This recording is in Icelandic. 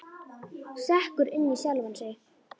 Sekkur inn í sjálfan sig.